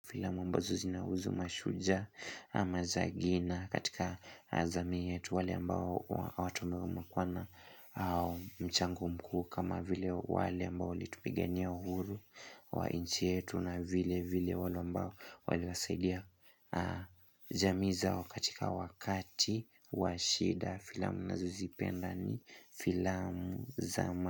Filamu ambazo zinahuzu mashujaa ama zagina katika azami yetu wale ambao watumegu makwana au mchango mkuu kama vile wale ambao walitupigania uhuru wa nchi yetu na vile vile wale ambao wale wasaidia jamii zao katika wakati wa shida filamu nina zozipenda ni filamu zama.